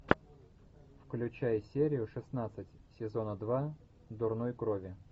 включай серию шестнадцать сезона два дурной крови